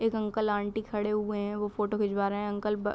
एक uncle aunty खड़े हुए हैं वो फोटो खिचवा रहे हैं अंकल ब --